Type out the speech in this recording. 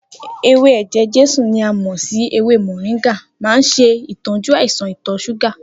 Ewé eje-jesu ni a mò sí ewé mọ̀ríńgà máa n ṣe ìtọ́jú àìsàn ìtọ̀ ṣúgà